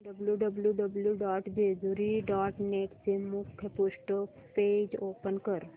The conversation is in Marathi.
W W W dot Jejuri dot net चे मुखपृष्ठ पेज ओपन कर